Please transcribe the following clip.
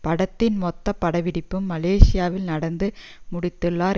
படத்தின் மொத்த படப்பிடிப்பையும் மலேசியாவில் நடந்து முடித்துள்ளார்